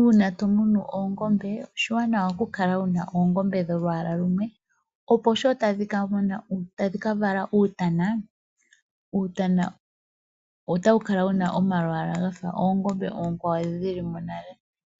Uuna tomunu oongombe , oshiwanawa okukala wuna oongombe dholwaala lumwe opo sho tadhi kavala uutana, uutana otawu kala wuna omalwaalwa gafa oongombe oonkwawo ndhoka shilimo nale.